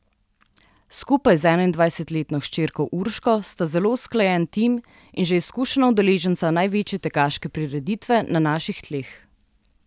Skupaj z enaindvajsetletno hčerko Urško sta zelo usklajen tim in že izkušena udeleženca največje tekaške prireditve na naših tleh.